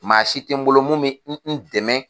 Maa si tɛ n bolo mun bɛ n dɛmɛ.